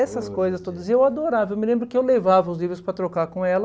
Essas coisas todas, e eu adorava, eu me lembro que eu levava os livros para trocar com ela,